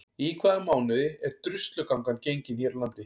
Í hvaða mánuði er Druslugangan gengin hér á landi?